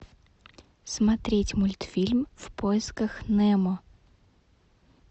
смотреть мультфильм в поисках немо